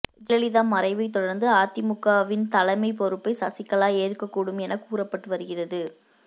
ஜெயலலிதா மறைவைத் தொடர்ந்து அதிமுகவின் தலைமைப் பொறுப்பை சசிகலா ஏற்க கூடும் என கூறப்பட்டு வருகிறது